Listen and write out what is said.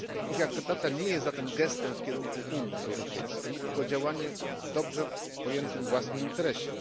wartości. Ich akceptacja nie jest zatem gestem w kierunku Unii Europejskiej, tylko działaniem w dobrze pojętym własnym